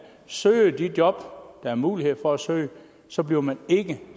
søger de job der er mulighed for at søge så bliver man ikke